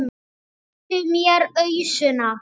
Réttu mér ausuna!